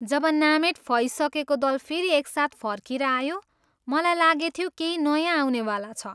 जब नामेट फइसकेको दल फेरि एकसाथ फर्किएर आयो, मलाई लागेथ्यो केही नयाँ आउनेवाला छ।